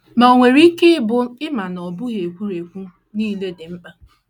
Ma o nwere ike ịbụ na ị ma na ọ bụghị egwuregwu niile dị mma.